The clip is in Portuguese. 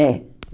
É.